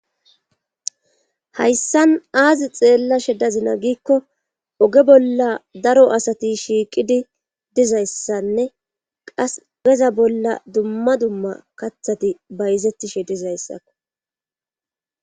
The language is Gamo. Hayssan aazi xeella she dazina giikko oge bolla daro asati shiiqidi dizayssanne qas geza bolla dumma dumma kathati bayzettishe dizayssakko.